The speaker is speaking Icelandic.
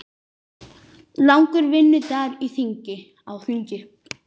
Langur vinnudagur á þingi